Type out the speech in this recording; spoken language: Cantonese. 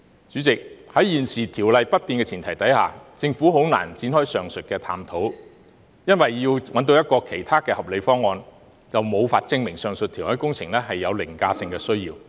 主席，在現時《條例》不變的前提下，政府難以展開上述探討，因為如能想出其他合理方案，便無法證明上述填海工程是有凌駕性的需要。